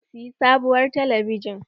Zan siya sabuwar talabijin.